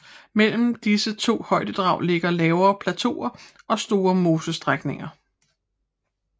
Mellem disse to højdedrag ligger lavere plateauer og store mosestrækninger